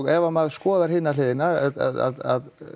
ef maður skoðar hina hliðina að